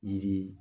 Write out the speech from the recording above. Yiri